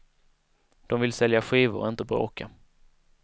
De vill sälja skivor, inte bråka.